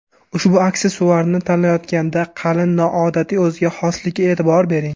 Ushbu aksessuarni tanlayotganda qalin, noodatiy, o‘ziga xoslikka e’tibor bering.